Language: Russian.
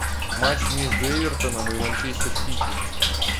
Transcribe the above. матч между эвертоном и манчестер сити